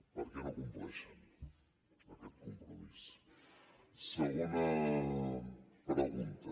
per què no compleixen aquest compromís segona pregunta